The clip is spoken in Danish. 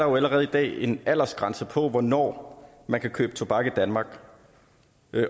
jo allerede i dag en aldersgrænse for hvornår man kan købe tobak i danmark